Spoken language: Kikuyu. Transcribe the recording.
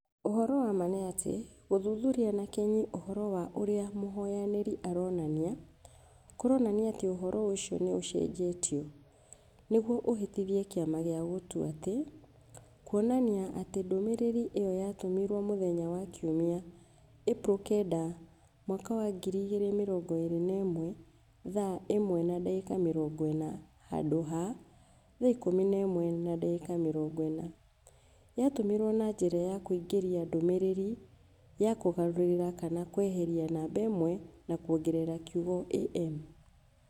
"Ũhoro wa ma nĩ atĩ, gũthuthuria na kinyi ũhoro wa ũrĩa mũhoyanĩri aronania... . Kũroranaia atĩ ũhoro ũcio nĩ ũcenjetio nĩguo ũhĩtithie kĩama gĩa gũtua atĩ. Kuonania ati ndũmĩrĩri ĩyo yatũmirũo mũthenya wa Kiumia, Ĩpuro 9, 2021 thaa 7.40 handũ ha... thaa 17.40 . Yaatũmirũo na njĩra ya kũingĩria ndũmĩrĩri ya kũgarũrĩra kana kweheria namba 1 na kuongerera kiugo AM".